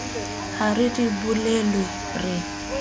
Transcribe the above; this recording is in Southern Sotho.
ha re di bolellwe re